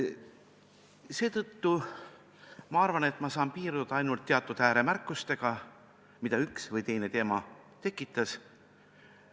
Seetõttu ma arvan, et saan piirduda ainult teatud ääremärkustega, mida üks või teine teema minus tekitas.